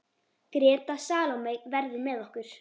Greta Salóme verður með okkur.